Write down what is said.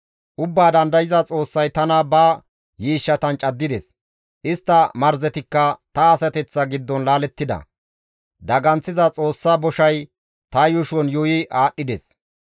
Ubbaa dandayza Xoossay tana ba yiishshatan caddides; istta marzetikka ta asateththa giddon laalettida; daganththiza Xoossa boshay ta yuushon yuuyi aadhdhides.